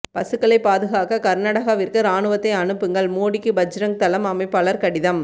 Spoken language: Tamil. பசுக்களை பாதுகாக்க கர்நாடாகவிற்கு ராணுவத்தை அனுப்புங்கள் மோடிக்கு பஜ்ரங் தளம் அமைப்பாளர் கடிதம்